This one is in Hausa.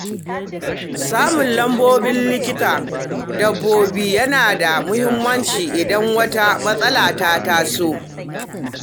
Samun lambobin likitan dabbobi yana da muhimmanci idan wata matsala ta taso.